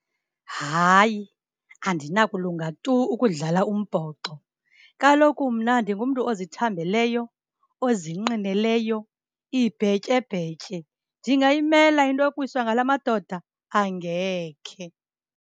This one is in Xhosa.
Hayi, andinakulunga tu ukudlala umbhoxo. Kaloku mna ndingumntu ozithambeleyo, ozinqineleyo ibhetyebhetye. Ndingayimela into yokuwiswa ngala madoda? Angekhe.